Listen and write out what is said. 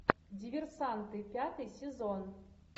диверсанты пятый сезон